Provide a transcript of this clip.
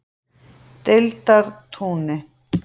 Deildartúni